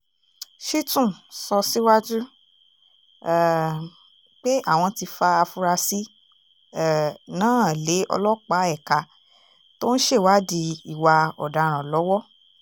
shitun sọ síwájú um pé àwọn ti fa afurasí um náà lé ọlọ́pàá ẹ̀ka tó ń ṣèwádìí ìwà ọ̀daràn lọ́wọ́